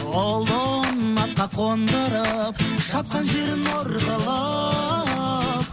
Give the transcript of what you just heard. ұлын атқа қондырып шапқан жерін ор қылып